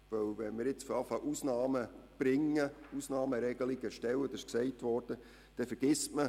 Wenn man damit Ausnahmeregelungen ins Gesetz zu schreiben beginnt, kann es sein, dass jemand vergessen wird.